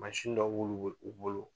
Mansin dɔ b'olu bolo